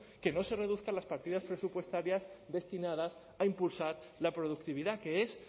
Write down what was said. que no se reduzcan las partidas presupuestarias destinadas a impulsar la productividad que es